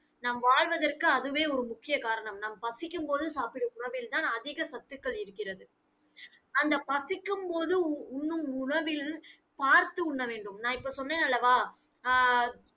நாம் வாழ்வதற்கு அதுவே ஒரு முக்கிய காரணம். நாம் பசிக்கும் போது சாப்பிடும் உணவில்தான் அதிக சத்துக்கள் இருக்கிறது. அந்த பசிக்கும் போது, உ~ உண்ணும் உணவில் பார்த்து உண்ண வேண்டும். நான் இப்ப சொன்னேன் அல்லவா? ஆஹ்